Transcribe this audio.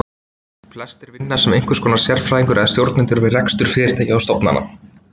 Flestir vinna sem einhvers konar sérfræðingar eða stjórnendur við rekstur fyrirtækja eða stofnana.